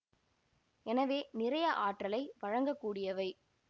எனவே நிறைய ஆற்றலை வழங்க கூடியவை